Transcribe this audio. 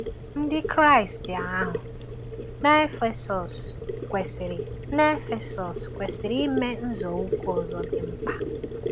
Ndị Kraịst ahụ na Efesọs kwesịrị na Efesọs kwesịrị ime nzọụkwụ ọzọ dị mkpa.